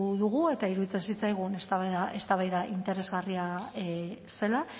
dugu eta iruditzen zitzaigun eztabaida interesgarria zela